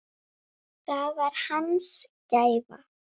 Það var hans gæfa.